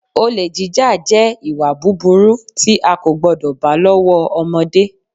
Olè jíjà, jẹ́ ìwà búburú tí a kò gbọ́dọ̀ bá lọ́wọ́ ọmọdé.